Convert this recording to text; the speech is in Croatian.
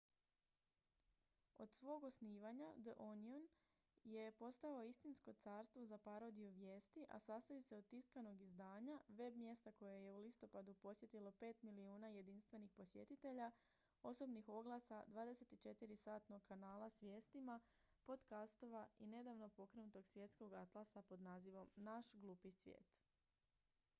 od svog osnivanja the onion je postao istinsko carstvo za parodiju vijesti a sastoji se od tiskanog izdanja web-mjesta koje je u listopadu posjetilo 5.000.000 jedinstvenih posjetitelja osobnih oglasa 24-satnog kanala s vijestima podcastova i nedavno pokrenutog svjetskog atlasa pod nazivom naš glupi svijet